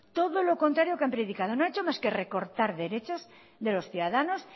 todo lo contrario que han predicado no han hecho más que recortar derechos de los ciudadanos